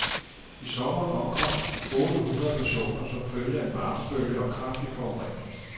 I sommeren omkom otte hundrede personer som følge af en varmebølge og kraftig forurening.